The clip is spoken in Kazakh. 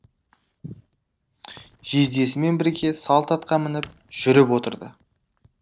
жездесімен бірге салт атқа мініп жүріп отырды